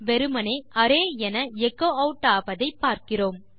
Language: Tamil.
வெறுமனே அரே என எச்சோ ஆட் ஆவதை பார்க்கிறோம்